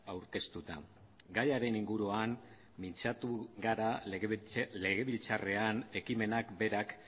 aurkeztuta gaiaren inguruan mintzatu gara legebiltzarrean ekimenak berak